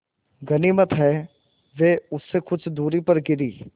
गनीमत है वे उससे कुछ दूरी पर गिरीं